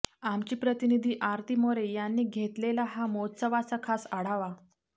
आमच्या प्रतिनिधी आरती मोरे यांनी घेतलेला या मोह्त्सवाचा खास आढावा